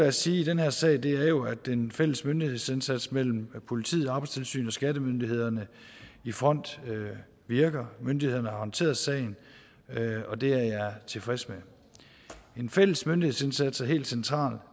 at sige i den her sag er jo at den fælles myndighedsindsats mellem politiet arbejdstilsynet og skattemyndighederne i front virker myndighederne har håndteret sagen og det er jeg tilfreds med en fælles myndighedsindsats er helt central